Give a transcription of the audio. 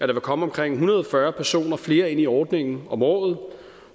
vil komme omkring en hundrede og fyrre personer flere ind i ordningen om året